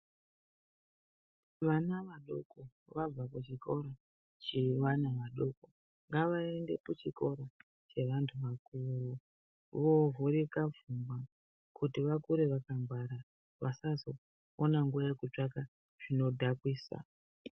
Vana vadoko vabva kuchikora chevana vadoko ngavaende kuchikora chevandu vakuru voovhurika pfungwa kuti vakure vakangwara vasazoona nguwa yekutsvaka zvinodhakwisa.